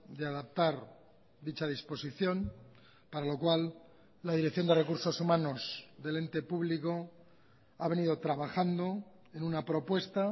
de adaptar dicha disposición para lo cual la dirección de recursos humanos del ente público ha venido trabajando en una propuesta